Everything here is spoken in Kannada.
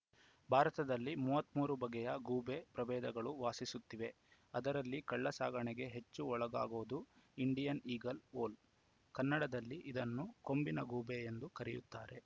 ಭಾರತದಲ್ಲಿ ಮೂವತ್ತ್ ಮೂರು ಬಗೆಯ ಗೂಬೆ ಪ್ರಭೇದಗಳು ವಾಸಿಸುತ್ತಿವೆ ಅದರಲ್ಲಿ ಕಳ್ಳಸಾಗಣೆಗೆ ಹೆಚ್ಚು ಒಳಗಾಗೋದು ಇಂಡಿಯನ್‌ ಈಗಲ್‌ ಓಲ್‌ ಕನ್ನಡದಲ್ಲಿ ಇದನ್ನು ಕೊಂಬಿನ ಗೂಬೆ ಎಂದು ಕರೆಯುತ್ತಾರೆ